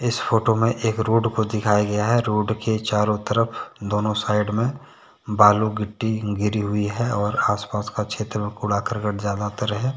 Photo में एक road को दिखाया गया है। रोड के चारों तरफ दोनों साइड में बालू की टीन गिरी हुई है और आसपास का क्षेत्र में कूड़ा करकट ज्यादातर है।